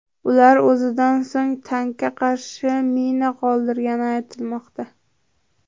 Ular o‘zidan so‘ng tankka qarshi mina qoldirgani aytilmoqda.